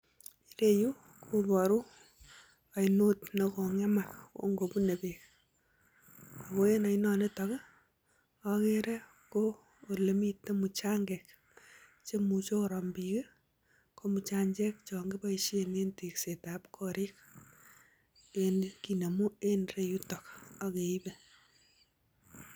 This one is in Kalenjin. Ireuuu kobaruu aineet nekingemak Eng tekseeet ap kariik